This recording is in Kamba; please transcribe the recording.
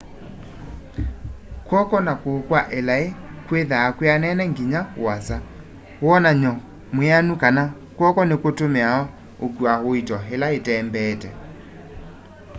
kw'oko na kuu kwa ilai kwithwaa kwianene nginya uasa wonany'o mwianu kana kw'oko nikutumiawa ukua uito ila itembeete